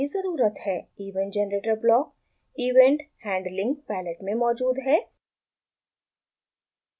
event generator block event handling palette में मौजूद है